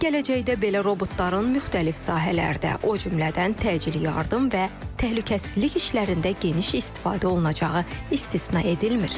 Gələcəkdə belə robotların müxtəlif sahələrdə, o cümlədən təcili yardım və təhlükəsizlik işlərində geniş istifadə olunacağı istisna edilmir.